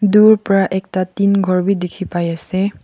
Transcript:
dur pra ekta tin ghor bi dikhipaiase.